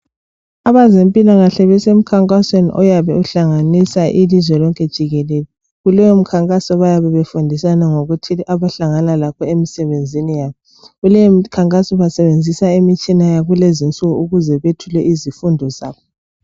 Abezempilakahle besemkhankasweni oyabe uhlanganisa ilizwe lonke jikelele. Kuleyo mkhankaso bayabe befundisana ngokuthile abahlangana lakho emisebenzini yabo. Kuleyo mkhankaso basebenzisa imitshina yakulezinsuku ukuze bethule izifundo zabo.